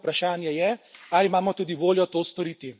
Edino vprašanje je, ali imamo tudi voljo to storiti.